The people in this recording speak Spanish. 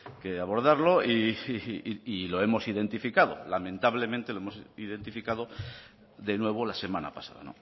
que abordarlo y sí lo hemos identificado lamentablemente lo hemos identificado de nuevo la semana pasada